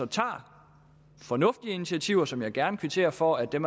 tager fornuftige initiativer som jeg gerne kvitterer for at der